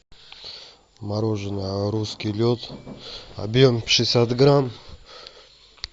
мороженое русский лед объем шестьдесят грамм